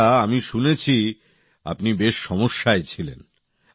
আচ্ছা আমি শুনেছি আপনি বেশ সমস্যায় ছিলেন